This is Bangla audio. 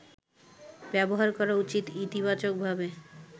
ব্যবহার করা উচিত ইতিবাচকভাবে